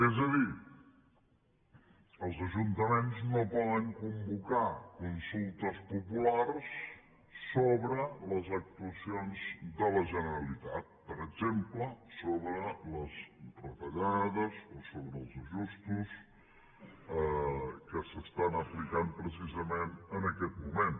és a dir els ajuntaments no poden convocar consultes populars sobre les actuacions de la generalitat per exemple sobre les retallades o sobre els ajustos que s’estan aplicant precisament en aquest moment